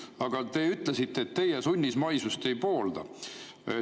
Aga te ütlesite, et teie sunnismaisust ei poolda.